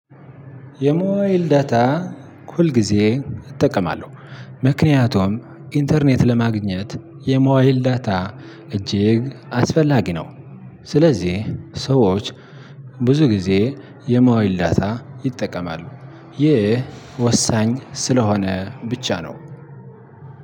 የሞባይል ዳታ ሁል ጊዜ እጠቀማለው ምክንያቱም ኢንተርኔት ለማግኘት የሞባይል ዳታ እጅግ አስፈላጊ ነው። ስለዚህ ሰዎች ብዙ ጊዜ የሞባይል ዳታ ይጠቀማሉ። ይህ ወሳኝ ስለሆነ ብቻ ነው።